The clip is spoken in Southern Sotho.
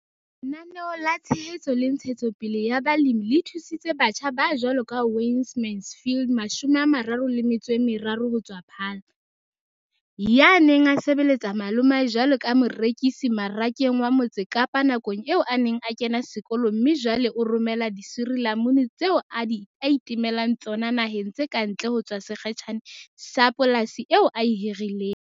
Lenaneo la Tshehetso le Ntshetsopele ya Balemi le thusitse batjha ba jwaloka Wayne Mansfield, 33, ho tswa Paarl, ya neng a sebelletsa malomae jwaleka morekisi Marakeng wa Motse Kapa nakong eo a neng a kena sekolo mme jwale o romela disirilamunu tseo a itemelang tsona naheng tse ka ntle ho tswa sekgetjhaneng sa polasi eo a e hirileng.